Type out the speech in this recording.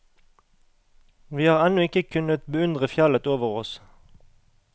Vi har ennå ikke kunnet beundre fjellet over oss.